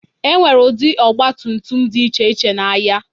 Enwere ụdị ọgba tum tum dị iche iche n'ahịa.